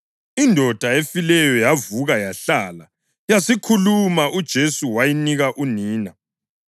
Indoda efileyo yavuka yahlala, yasikhuluma, uJesu wayinika unina.